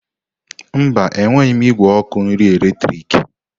Mba, enweghị m igwe ọkụ nri eletrik.